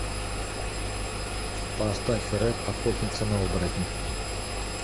поставь рэд охотница на оборотней